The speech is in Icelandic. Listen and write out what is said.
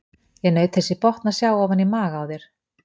Ég naut þess í botn að sjá ofan í maga á þér.